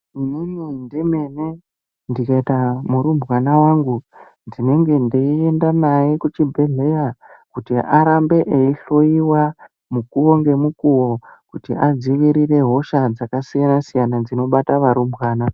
Inini ndemene ndikaita murumbwana wangu ndinenge ndeiyenda naye kuchibhedhleya kuti arambe eyihloyiwa mukuwo ngemukuwo kuti adzivirere hosha dzakasiyanasiyana dzinobata varumbwana.